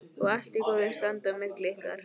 Og allt í góðu standi á milli ykkar?